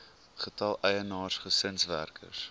getal eienaars gesinswerkers